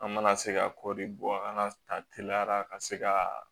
An mana se ka kɔɔri bɔ an ka ta teliyara ka se ka